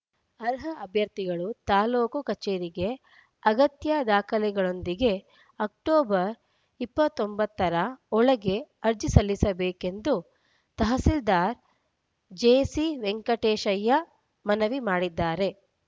ಅರ್ಹ ಅಭ್ಯರ್ಥಿಗಳು ತಾಲೂಕು ಕಚೇರಿಗೆ ಅಗತ್ಯ ದಾಖಲೆಗಳೊಂದಿಗೆ ಅಕ್ಟೋಬರ್‌ ಇಪ್ಪತ್ತ್ ಒಂಬತ್ತರ ಒಳಗೆ ಅರ್ಜಿ ಸಲ್ಲಿಸಬೇಕೆಂದು ತಹಸೀಲ್ದಾರ್‌ ಜೆಸಿವೆಂಕಟೇಶಯ್ಯ ಮನವಿ ಮಾಡಿದ್ದಾರೆ